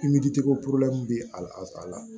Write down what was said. bɛ a la